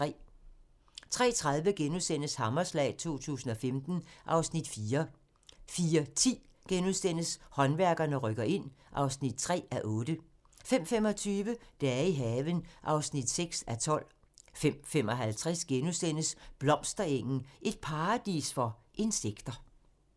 03:30: Hammerslag 2015 (Afs. 4)* 04:10: Håndværkerne rykker ind (3:8)* 05:25: Dage i haven (6:12) 05:55: Blomsterengen - et paradis for insekter *